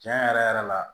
Tiɲɛ yɛrɛ yɛrɛ la